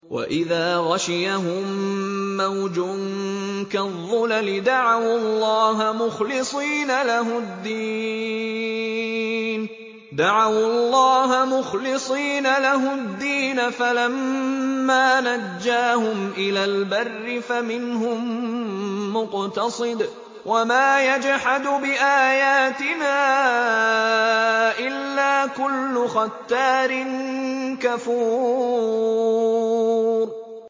وَإِذَا غَشِيَهُم مَّوْجٌ كَالظُّلَلِ دَعَوُا اللَّهَ مُخْلِصِينَ لَهُ الدِّينَ فَلَمَّا نَجَّاهُمْ إِلَى الْبَرِّ فَمِنْهُم مُّقْتَصِدٌ ۚ وَمَا يَجْحَدُ بِآيَاتِنَا إِلَّا كُلُّ خَتَّارٍ كَفُورٍ